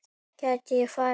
Gæti ég farið?